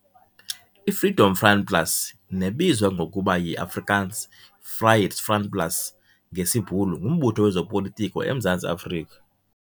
I-Freedom Front Plus nebizwa ngokuba yi-"Afrikaans- Vryheidsfront Plus, VF"plus ngesibhulu ngumbutho wezopolitiko eMzantsi Afrika.